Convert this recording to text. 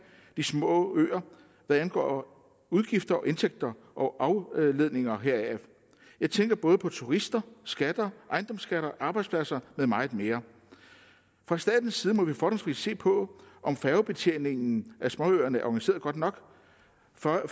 de små øer hvad angår udgifter og indtægter og afledninger heraf jeg tænker både på turister skatter ejendomsskatter arbejdspladser med meget mere fra statens side må vi fordomsfrit se på om færgebetjeningen af småøerne er organiseret godt nok